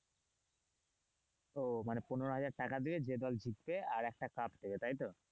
ও মানে পনেরো হাজার টাকা দেবে যে দল জিতবে আর একটা কাপ দেবে তাই তো?